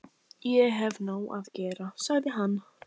Ég hef nóg að gera, sagði hann.